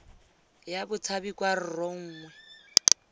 ya batshabi kwa rro nngwe